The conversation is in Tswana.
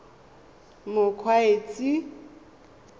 mokgweetsi